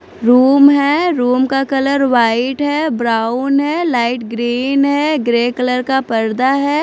Room है room का colour white है ब्राउन है लाइट ग्रीन है ग्रे कलर का पर्दा है।